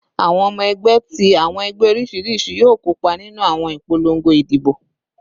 Awọn ọmọ ẹgbẹ ti awọn ẹgbẹ oriṣiriṣi yoo kopa ninu awọn ipolongo idibo